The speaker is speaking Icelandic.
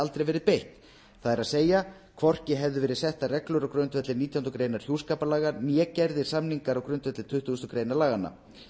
aldrei verið beitt það er hvorki hefðu verið settar reglur á grundvelli nítjánda grein hjúskaparlaga né gerðir samningar á grundvelli tuttugustu greinar laganna